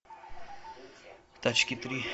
тачки три